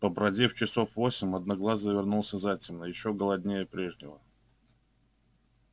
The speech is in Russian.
побродив часов восемь одноглазый вернулся затемно ещё голоднее прежнего